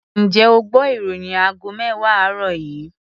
Ǹjẹ́ o gbọ́ ìròyìn aago mẹ́wàá àárọ̀ yìí?